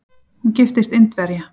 Hún giftist Indverja.